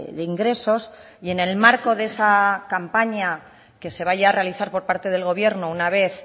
de ingresos y en el marco de esa campaña que se vaya a realizar por parte del gobierno una vez